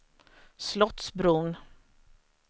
Slottsbron